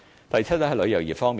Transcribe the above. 第七，是旅遊業方面。